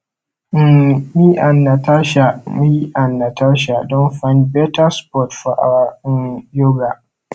um me and natasha me and natasha don find better spot for our um yoga